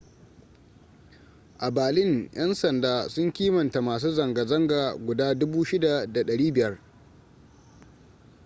a berlin yan sanda sun kimanta masu zanga-zanga guda 6,500